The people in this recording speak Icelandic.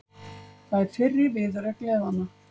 Það er fyrri viðureign liðanna